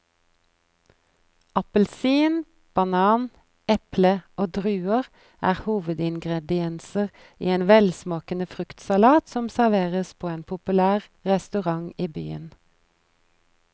Appelsin, banan, eple og druer er hovedingredienser i en velsmakende fruktsalat som serveres på en populær restaurant i byen.